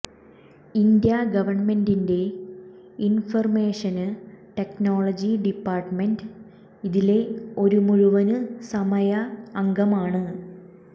India ഗവണ്മെന്റിന്റെ information technology department ഇതിലെ ഒരു മുഴുവന് സമയ അംഗമാണ്